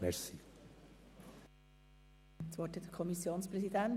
Das Wort hat der Kommissionspräsident.